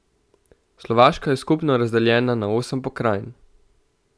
Slovaška je skupno razdeljena na osem pokrajin.